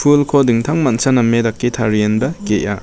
pulko dingtangmancha name dake tarienba ge·a.